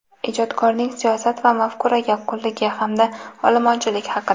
ijodkorning siyosat va mafkuraga qulligi hamda olomonchilik haqida.